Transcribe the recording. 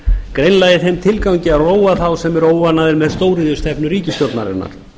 greinilega í þeim tilgangi að róa þá sem eru óánægðir með stóriðjustefnu ríkisstjórnarinnar